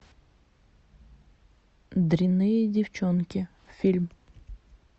дрянные девчонки фильм